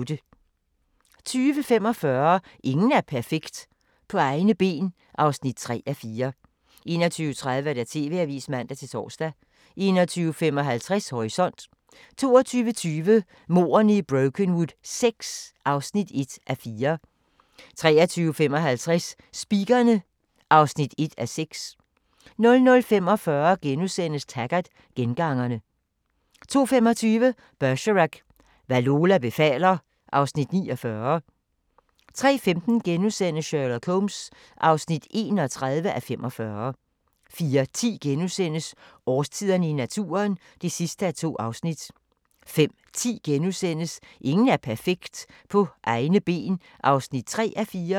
20:45: Ingen er perfekt – På egne ben (3:4) 21:30: TV-avisen (man-tor) 21:55: Horisont 22:20: Mordene i Brokenwood VI (1:4) 23:55: Speakerine (1:6) 00:45: Taggart: Gengangerne * 02:25: Bergerac: Hvad Lola befaler (Afs. 49) 03:15: Sherlock Holmes (31:45)* 04:10: Årstiderne i naturen (2:2)* 05:10: Ingen er perfekt – På egne ben (3:4)*